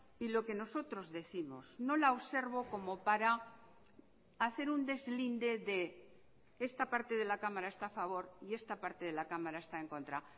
y lo que nosotros décimos no la observo como para hacer un deslinde de esta parte de la cámara está a favor y esta parte de la cámara está en contra